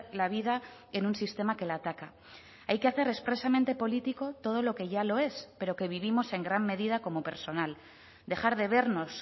la vida en un sistema que la ataca hay que hacer expresamente político todo lo que ya lo es pero que vivimos en gran medida como personal dejar de vernos